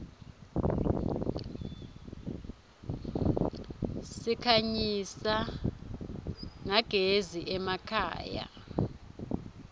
sikhanyisa nyagezi emakhaya